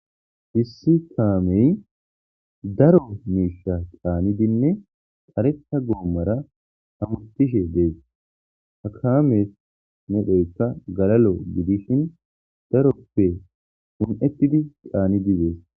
Dissi kaamey daro miisha caani dinne qareta goommara hamutishe dees hakames nedheyka galalo gidishin daroppe hun'etidi caani dizees.